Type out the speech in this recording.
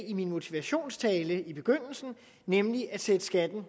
i min motivationstale i begyndelsen nemlig at sætte skatten